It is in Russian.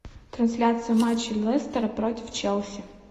трансляция матча лестера против челси